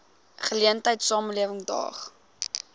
geleentheid samelewing daag